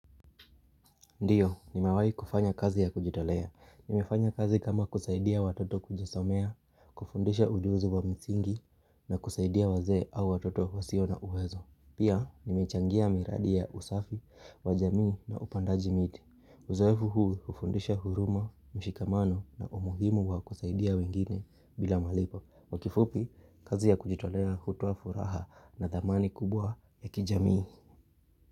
Ndiyo, nimewahi kufanya kazi ya kujitolea. Nimefanya kazi kama kusaidia watoto kujisomea, kufundisha ujuzi wa msingi, na kusaidia wazee au watoto wasio na uwezo. Pia, nimechangia miradi ya usafi wa jamii na upandaji miti. Uzoefu huu hufundisha huruma, mshikamano na umuhimu wa kusaidia wengine bila malipo. Kwa kifupi, kazi ya kujitolea hutoa furaha na thamani kubwa ya kijamii.